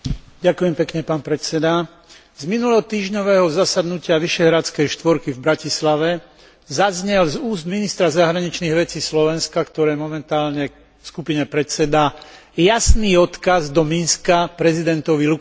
Na minulotýždňovom zasadnutí Vyšehradskej štvorky v Bratislave zaznel z úst ministra zahraničných vecí Slovenska, ktoré momentálne skupine predsedá, jasný odkaz do Minsku prezidentovi Lukašenkovi.